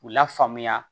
K'u la faamuya